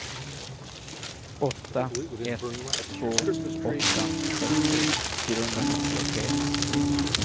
åtta ett två åtta sextio fyrahundranittiotre